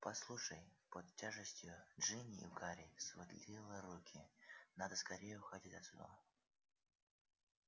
послушай под тяжестью джинни у гарри сводило руки надо скорее уходить отсюда